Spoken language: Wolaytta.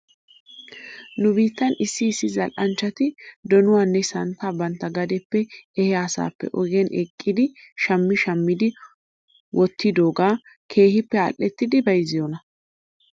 Nu biittan issi issi zal'anchchati donuwaanne santtaa bantta gadeppe ehiyaa asaappe ogiyan eqqidi shammi shammidi wottidoogaa keehippe al'ettidi bayzziyoonaa ?